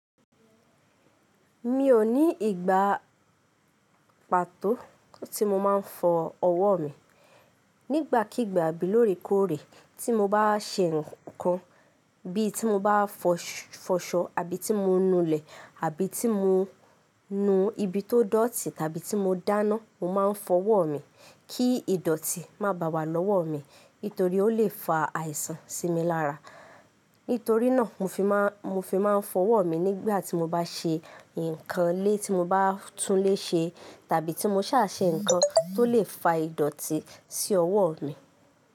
Mi ò ní ìgbà pàtó tí mo máa ń fọ ọwọ́ mi. Nígbàkígbà bí lóòrèkóòrè tí mo bá ṣe nǹkan bí i tí mo bá fọṣọ àbí tí mo nu ilẹ̀ àbí tí mo nu ibi tó dọ̀tí tàbí tí mo dáná, mo máa ń fọ ọwọ́ mi kí ìdọ̀tí má baà wá lọ́wọ́ mi nítorí ó lè fa àìsàn sí mi lára. Nítorí náà mo fi máa ń fọ ọwọ́ mi nígbà tí mo bá ṣe nǹkan ilé tí mo bá tún ilé ṣe tàbí tí mo ṣà ṣe nǹkan tó lè fa ìdọ̀tí sí ọwọ́ mi.